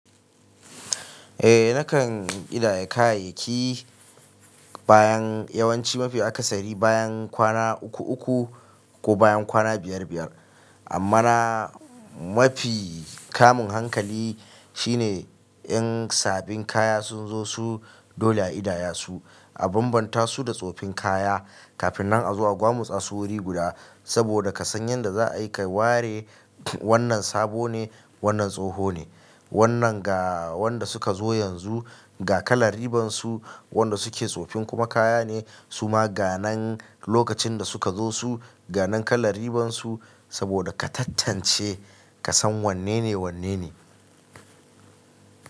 Eh nakan ƙidaya kayayyaki bayan yawanci mafi aka sari bayan kwana uku uku ko bayan kwana biyar biyar. Amma na mafi kamun hankali shine in sabin kaya sun zo su dole a idaya su a bambanta su da tsofin kaya kafin nan a zo a gwamusa su wuri guda saboda ka san yadda za a yi ka ware wannan sabo ne wannan tsoho ne. Wannan ga wanda suka zo yanzu ga kalar riban su wanda suke tsofin kuma kaya ne suma ga nan lokacin da suka zo su ga nan kalar riban su saboda ka tattance ka san wanne ne wanne ne.